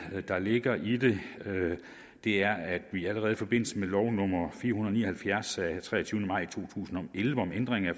der ligger i det er at vi allerede i forbindelse med lov nummer fire hundrede og ni og halvfjerds af treogtyvende maj to tusind og elleve om ændring af